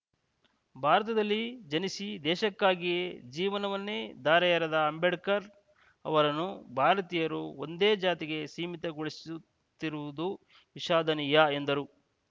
ಭಾರತದಲ್ಲಿ ಜನಿಸಿ ದೇಶಕ್ಕಾಗಿಯೇ ಜೀವನವನ್ನೇ ಧಾರೆಯೆರೆದ ಅಂಬೇಡ್ಕರ್‌ ಅವರನ್ನು ಭಾರತೀಯರು ಒಂದೇ ಜಾತಿಗೆ ಸೀಮಿತಗೊಳಿಸುತ್ತಿರುವುದು ವಿಷಾದನೀಯ ಎಂದರು